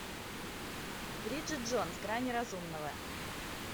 бриджит джонс грани разумного